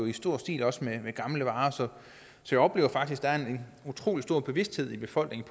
i stor stil med gamle varer så jeg oplever faktisk at der er en utrolig stor bevidsthed i befolkningen